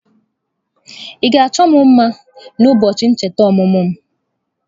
Ị ga-achọ m mma na ụbọọchi ncheta ọmụmụ m?